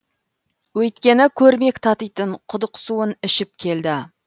өйткені көрмек татитын құдық суын ішіп келді